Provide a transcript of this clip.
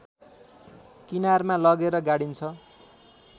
किनारमा लगेर गाडिन्छ